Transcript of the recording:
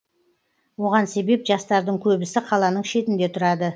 оған себеп жастардың көбісі қаланың шетінде тұрады